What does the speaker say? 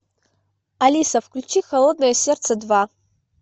алиса включи холодное сердце два